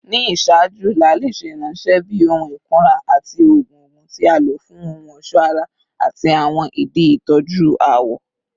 Ni iṣaaju, laali ṣe iranṣẹ bi ohun ikunra ati oogun oogun, ti a lo fun ohun ọṣọ ara ati awọn idi itọju awọ.